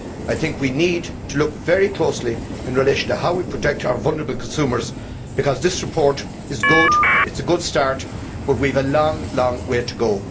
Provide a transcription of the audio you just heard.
I think we need to look very closely in relation to how we protect our vulnerable consumers, because this report is good, it is good start, but we have a long way to go.